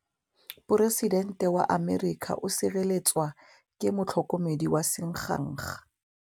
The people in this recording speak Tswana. Poresitêntê wa Amerika o sireletswa ke motlhokomedi wa sengaga.